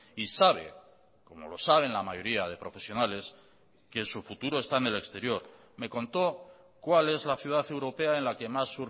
y sabe como lo saben la mayoría de profesionales que su futuro está en el exterior me contó cuál es la ciudad europea en la que más